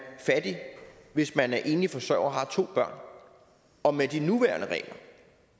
fattig hvis man er enlig forsørger har to børn og med de nuværende regler